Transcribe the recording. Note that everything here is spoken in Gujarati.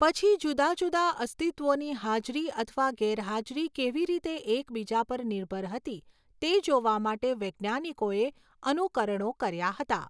પછી, જુદા જુદા અસ્તિત્વોની હાજરી અથવા ગેરહાજરી કેવી રીતે એકબીજા પર નિર્ભર હતી તે જોવા માટે વૈજ્ઞાનિકોએ અનુકરણો કર્યા હતા.